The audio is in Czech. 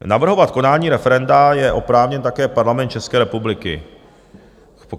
Navrhovat konání referenda je oprávněn také Parlament České republiky.